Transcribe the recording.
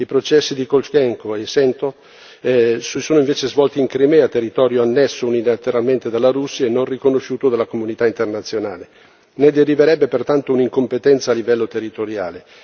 I processi di Kolchenko e Sentsov si sono invece svolti in Crimea, territorio annesso unilateralmente dalla Russia e non riconosciuto dalla comunità internazionale. Ne deriverebbe pertanto un'incompetenza, a livello territoriale.